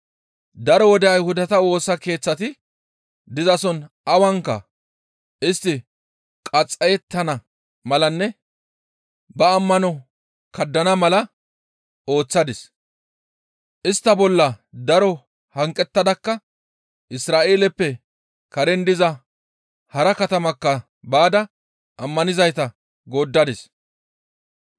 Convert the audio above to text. Daro wode Ayhudata Woosa Keeththati dizason awanka istti qaxxayettana malanne ba ammano kaddana mala ooththadis; istta bolla daro hanqettadakka Isra7eeleppe karen diza hara katamatakka baada ammanizayta gooddadis.